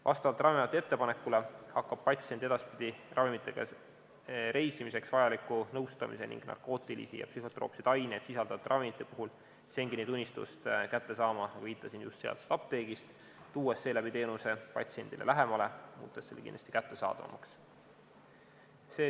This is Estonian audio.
Vastavalt Ravimiameti ettepanekule hakkab patsient edaspidi ravimitega reisimiseks vajaliku nõustamise ning narkootilisi ja psühhotroopseid aineid sisaldavate ravimite puhul Schengeni tunnistust kätte saama, nagu viitasin, just sealt apteegist, tuues seeläbi teenuse patsiendile lähemale ja muutes selle kättesaadavamaks.